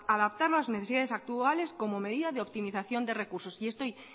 adaptarlo a las necesidades actuales como medida de optimización de recursos y estoy